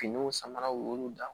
Finiw samaraw y'olu dan